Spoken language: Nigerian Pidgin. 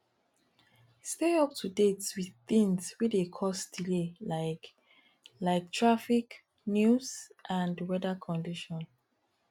stay up to date with things wey dey cause delay like like traffic news and weather condition